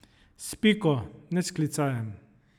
S piko, ne s klicajem.